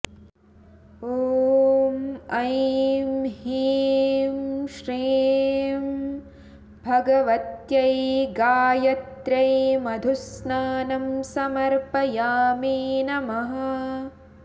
ॐ ऐं हीं श्रीं भगवत्यै गायत्र्यै मधुस्नानं समर्पयामि नमः